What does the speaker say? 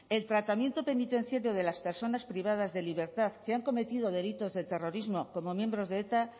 el tratamiento penitenciario de las personas privadas de libertad que han cometido delitos de terrorismo como miembros de eta